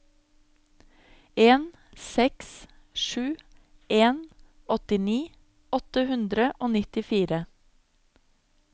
en seks sju en åttini åtte hundre og nittifire